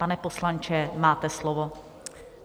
Pane poslanče, máte slovo.